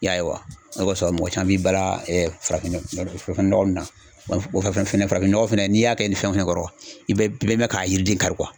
I y'a ye wa? O de kosɔn mɔgɔ caman b'i balan ɛ farafin nɔgɔ nun na fara fara farafinɔgɔ fɛnɛ n'i y'a kɛ ni fɛn o fɛn kɔrɔ, i bɛ mɛn ka yiriden kari